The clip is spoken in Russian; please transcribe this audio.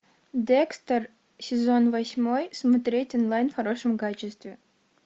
декстер сезон восьмой смотреть онлайн в хорошем качестве